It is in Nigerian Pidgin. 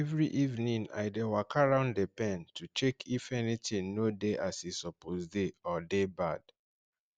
every evening i dey waka round the pen to check if anything no dey as e suppose dey or dey bad